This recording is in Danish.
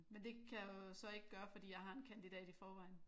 Men det kan jeg jo så ikke gøre fordi jeg har en kandidat i forvejen